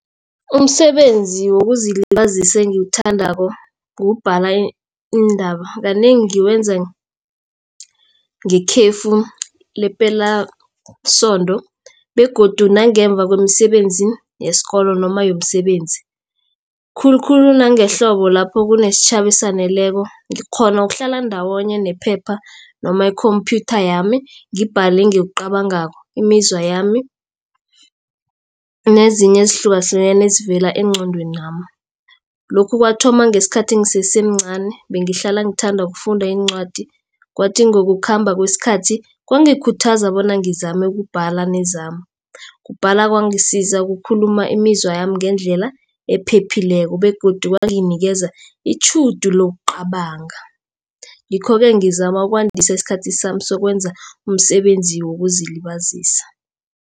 Umsebenzi wokuzilibazisa engiwuthandako kubhala iindaba. Kanengi ngiwenza ngekhefu lepelasonto begodu nangemva kwemisebenzi yesikolo noma yomsebenzi. Khulukhulu nangehlobo lapho kunesitjhaba esaneleko ngikghona ukuhlala ndawonye nephepha noma ikhomphyutha yami ngibhale engikucabangako, imizwa yami nezinye ezihlukahlukeneko ezivela engqondwenami. Lokhu kwathoma ngesikhathi ngisesemncani bengihlala ngithanda ukufunda iincwadi. Kwathi ngokukhamba kwesikhathi, kwangikhuthaza bona ngizame nokubhala nezami. Ukubhala kwangisiza ukukhuluma imizwami ngendlela ephephileko begodu kwanginikeza itjhudu lokucabanga. Ngikho-ke ngizama ukwandisa isikhathi sami sokwenza umsebenzi wokuzilibazisa.